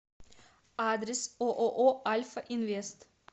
адрес ооо альфа инвест